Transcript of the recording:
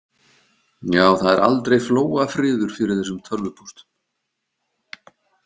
Já, það er aldrei flóafriður fyrir þessum tölvupóstum.